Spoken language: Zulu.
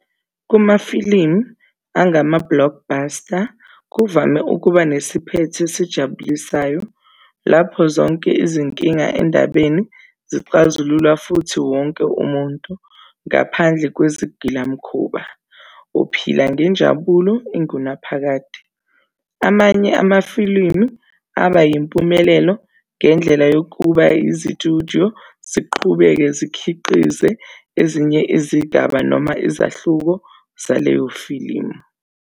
Kumafilimu angama-blockbuster, kuvame ukuba nesiphetho esijabulisayo, lapho zonke izinkinga endabeni zixazululwa futhi wonke umuntu, ngaphandle kwesigilamkhuba, uphila ngenjabulo engunaphakade. Amanye amafilimu aba yimpumelelo ngendlela yokuba izitudyo ziqhubeke zikhiqize ezinye izigaba noma izahluko zaleyo filimu.